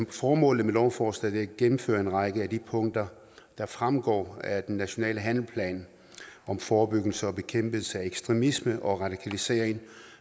formålet med lovforslaget er at gennemføre en række af de punkter der fremgår af den nationale handlingsplan om forebyggelse og bekæmpelse af ekstremisme og radikalisering